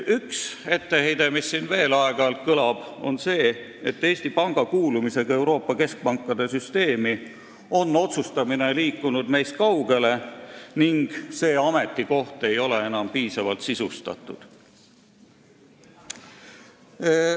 Üks etteheide, mis siin aeg-ajalt veel kõlab, on see, et Eesti Panga kuulumisega Euroopa Keskpankade Süsteemi on otsustamine meist kaugele liikunud ning see ametikoht ei ole enam piisavalt sisustatud.